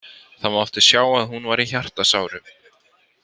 Það mátti sjá að hún var í hjartasárum.